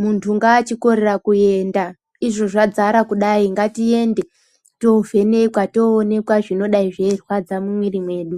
Muntu ngaachikorera kuenda , izvo zvadzara kudai! Ngatiende toovhenekwa, toonekwa zvinodai zveirwadza mumwiri mwedu.